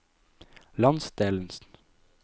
landsdelens